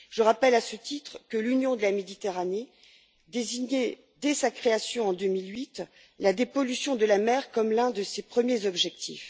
Je rappelle à ce titre que l'Union pour la Méditerranée désignait, dès sa création en 2008, la dépollution de la mer comme l'un de ses premiers objectifs.